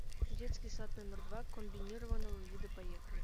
детский сад номер два комбинированного вида поехали